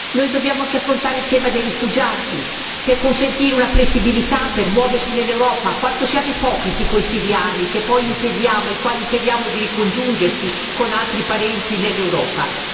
Noi dobbiamo anche affrontare il tema dei rifugiati, per consentire una flessibilità, per muoversi nell'Europa. Quanto siamo ipocriti con i siriani ai quali impediamo di ricongiungersi con altri parenti nell'Europa.